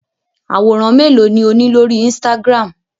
Àwòrán mélòó ni ó ní lórí Instagram?